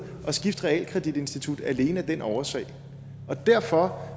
at skifte realkreditinstitut alene af den årsag derfor